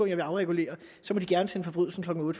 jeg vil afregulere så må de gerne sende forbrydelsen klokken